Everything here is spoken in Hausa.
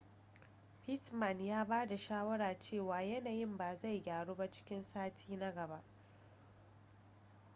pittman ya ba da shawara cewa yanayin ba zai gyaru ba sai cikin sati na gaba